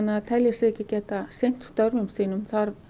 að það telji sig ekki geta sinnt störfum sínum